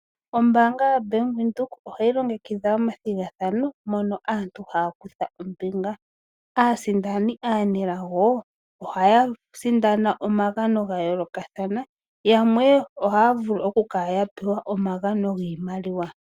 Ombaanga yo Bank Windhoek ohayi longekidha omathigathano mono aantu haya kutha ombinga. Aasindani aanelago ohaya sindana omagano ga yoolokathana yamwe ohaya vulu oku kala ya pewa omagano giimaliwa.